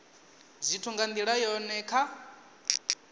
zwithu nga ndila yone kha